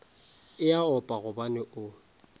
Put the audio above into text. e a opa gobane o